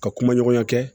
Ka kuma ɲɔgɔnya kɛ